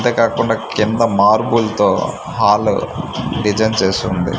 అంతేకాకుండా కింద మార్బుల్ తో హాలు డిజైన్ చేసుంది.